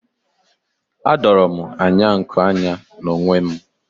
Adoro m anya nku anya n'onwe m.